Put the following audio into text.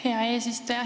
Hea eesistuja!